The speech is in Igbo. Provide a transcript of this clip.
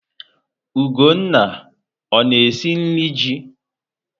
Ugonna ọ na-esi nri ji?